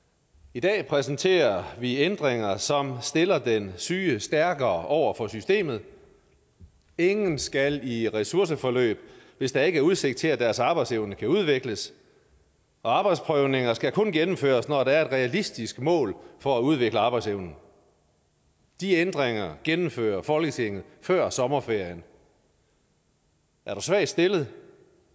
i dag præsenterer vi ændringer som stiller den syge stærkere over for systemet ingen skal i ressourceforløb hvis der ikke er udsigt til at deres arbejdsevne kan udvikles og arbejdsprøvninger skal kun gennemføres når der er et realistisk mål for at udvikle arbejdsevnen de ændringer gennemfører folketinget før sommerferien er du svagt stillet